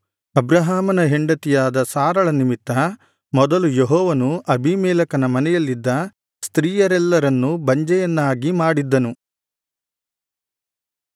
ಅಬ್ರಹಾಮನ ಹೆಂಡತಿಯಾದ ಸಾರಳ ನಿಮಿತ್ತ ಮೊದಲು ಯೆಹೋವನು ಅಬೀಮೆಲೆಕನ ಮನೆಯಲ್ಲಿದ್ದ ಸ್ತ್ರೀಯರೆಲ್ಲರನ್ನು ಬಂಜೆಯರನ್ನಾಗಿ ಮಾಡಿದ್ದನು